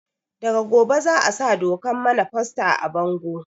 Daga gobe za a sa dokan mana foster a bango